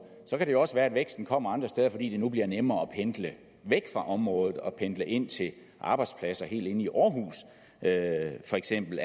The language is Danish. kan det jo også være at væksten kommer andre steder fordi det nu bliver nemmere at pendle væk fra området og pendle ind til arbejdspladser helt inde i aarhus for eksempel